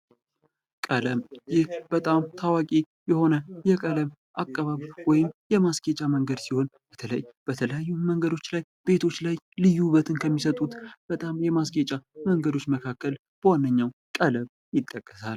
ቀለም ይህ በጣም ታዋቂ የሆነ የቀለም አቀባብ ወይም የማስጌጫ መንገድ ስህን በተለይ በተለያዩ መንገዶች ላይ ቤቶች ላይ ልዩ ውበትን ከሚሰጡ በጣም የማስጌጫ መንገዶች መካከል በዋነኛው ቀለም ይጠቀሳል።